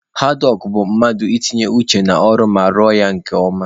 Haadwọk bụ mmadụ ị tinye uchu n'ọrụ ma rụọ ya nke ọma.